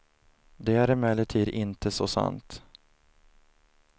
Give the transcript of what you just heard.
Det är emellertid inte så sant.